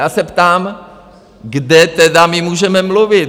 Já se ptám, kde tedy my můžeme mluvit?